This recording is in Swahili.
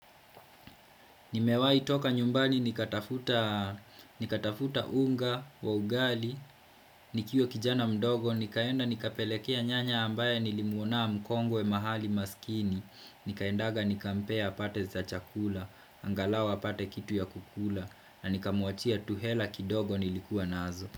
Nimewahi toka nyumbani, nikatafuta unga, wa ugali, nikiwa kijana mdogo, nikaenda nikapelekea nyanya ambaye nilimuona mkongwe mahali maskini, nikaendaga nikampea apate za chakula, angalau apate kitu ya kukula, na nikamuachia tu hela kidogo nilikuwa nazo.